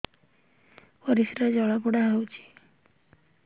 ପରିସ୍ରା ଜଳାପୋଡା ହଉଛି